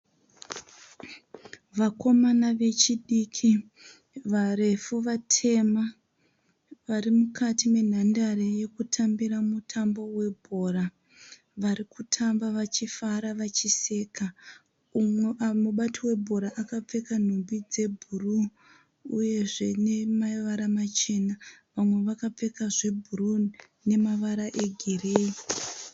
Vakomana vechidiki varefu vatema varefu varimukati menhandare yekutambira mutambo bhora. Varikutamba vachifara vachiseka. Mubati webhora akapfeka nhumbu dzebhuruu uyezve namavara machena vamwe vakapfeka zvebhuruu nemavara egireyi.